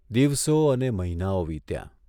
દિવસો અને મહીનાઓ વીત્યાં.